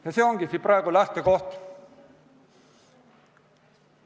See ongi praegu lähtekoht.